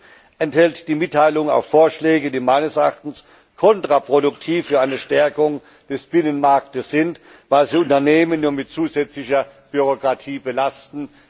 Drittens enthält die Mitteilung auch Vorschläge, die meines Erachtens kontraproduktiv für eine Stärkung des Binnenmarktes sind, weil sie Unternehmen nur mit zusätzlicher Bürokratie belasten.